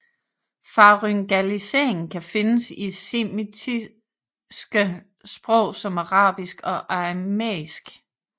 Faryngalisering kan findes i semitiske sprog som arabisk og aramæisk